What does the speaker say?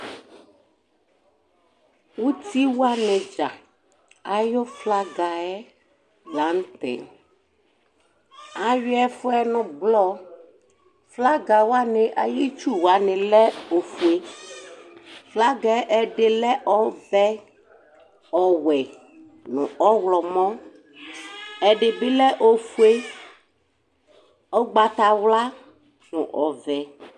Utiwanɩ dza ayʋ flagɩ yɛ la nʋ tɛ Ayʋɩ ɛfʋɛ nʋ ʋblɔ Flagɩ wanɩ atamɩ itsuwa alɛ ofue Flagɩ ɛdɩnɩ alɛ ɔvɛ, ɔwɛ nʋ ɔɣlɔmɔ Ɛdɩnɩ bɩ alɛ ofue, ugbatawla nʋ ɔvɛ